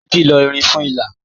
Títi n lọ irin fún ìlà.